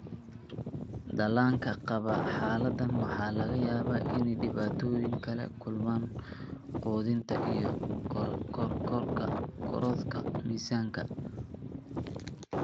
Dhallaanka qaba xaaladdan waxaa laga yaabaa inay dhibaatooyin kala kulmaan quudinta iyo korodhka miisaanka (ku guuldareysiga inay koraan).